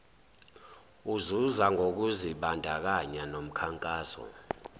uzuza ngokuzibandakanya nomkhankaso